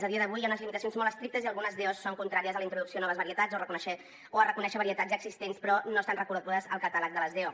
a dia d’avui hi ha unes limitacions molt estrictes i algunes do són contràries a la introducció de noves varietats o a reconèixer varietats ja existents però no estan reconegudes al catàleg de les do